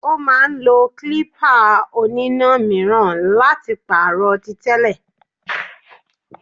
Ó máà ń lo klípà oníná míràn láti pàrọ̀ tí tẹ́lẹ̀.